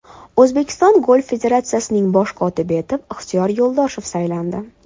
O‘zbekiston Golf federatsiyasining bosh kotibi etib Ixtiyor Yo‘ldoshev saylandi.